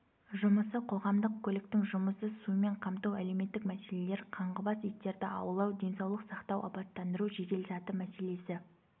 жұмысы қоғамдық көліктің жұмысы сумен қамту әлеуметтік мәселелер қаңғыбас иттерді аулау денсаулық сақтау абаттандыру жеделсаты мәселесі